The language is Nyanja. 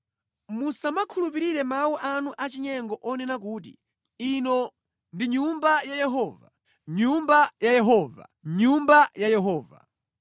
Musamakhulupirire mawu anu achinyengo onena kuti, ‘Ino ndi Nyumba ya Yehova, Nyumba ya Yehova, Nyumba ya Yehova!’